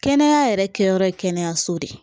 Kɛnɛya yɛrɛ kɛyɔrɔ ye kɛnɛyaso de ye